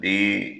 Be